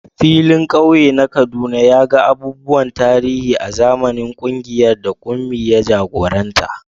Filin kauye na Kaduna ya ga abubuwan tarihi a zamanin kungiyar da Kunmi ya jagoranta.